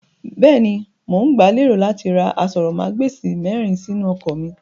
Bẹ́ẹ̀ni, mo ń gba lérò láti ra aṣórómagbesìn mìíràn sínú ọkọ̀ mí.